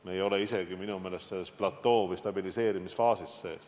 Me ei ole minu arvates isegi veel stabiliseerimisfaasis.